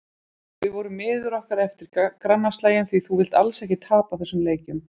Við vorum miður okkur eftir grannaslaginn því þú vilt alls ekki tapa þessum leikjum.